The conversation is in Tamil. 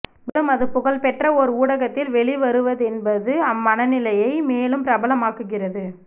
மேலும் அது புகழ்பெற்ற ஓர் ஊடகத்தில் வெளிவருவதென்பது அம்மனநிலையை மேலும் பிரபலமாக்குகிறது